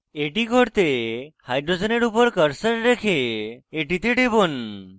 এটি করতে hydrogen উপর cursor রেখে এটিতে টিপব